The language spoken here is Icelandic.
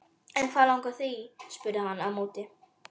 En hvað langar þig í? spurði hann á móti.